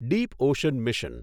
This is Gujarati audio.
Deep ocean mission